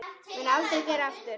Mun aldrei gera aftur.